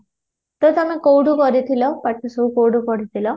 ତ ତମେ କୋଉଠୁ କରିଥିଲ ପାଠ ସବୁ କୋଉଠୁ ପଢିଥିଲ?